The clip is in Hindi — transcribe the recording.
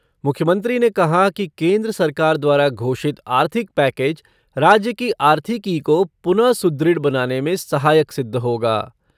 मुख्यमंत्री ने कहा कि केन्द्र सरकार द्वारा घोषित आर्थिक पैकेज राज्य की आर्थिकी को पुनः सुदृढ़ बनाने में सहायक सिद्ध होगा।